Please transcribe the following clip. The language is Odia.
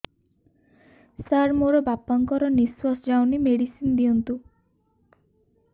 ସାର ମୋର ବାପା ଙ୍କର ନିଃଶ୍ବାସ ଯାଉନି ମେଡିସିନ ଦିଅନ୍ତୁ